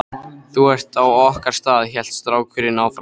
Þú ert á okkar stað, hélt strákurinn áfram.